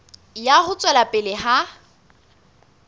ya ho tswela pele ha